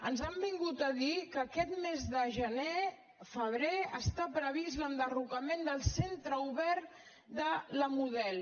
ens han vingut a dir que aquest mes de gener febrer està previst l’enderrocament del centre obert de la model